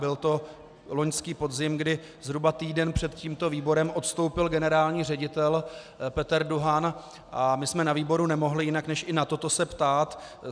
Byl to loňský podzim, kdy zhruba týden před tímto výborem odstoupil generální ředitel Peter Duhan, a my jsme na výboru nemohli jinak než i na toto se ptát.